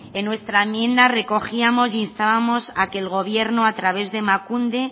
en nuestra enmienda recogíamos e instábamos a que el gobierno a través de emakunde